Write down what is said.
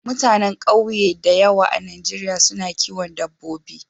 Mutanen ƙauye da yawa a Najeriya su na kiwon dabbobi.